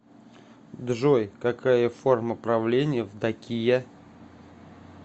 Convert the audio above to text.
джой какая форма правления в дакия